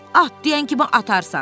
Mən at deyən kimi atarsan.